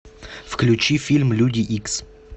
включи фильм люди икс